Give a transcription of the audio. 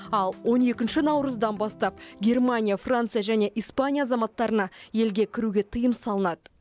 ал он екінші наурыздан бастап германия франция және испания азаматтарына елге кіруге тыйым салынады